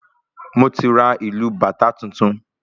Moti ra ìlù bàtá tuntun